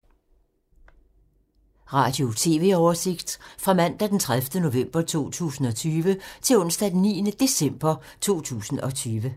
Radio/TV oversigt fra mandag d. 30. november 2020 til onsdag d. 9. december 2020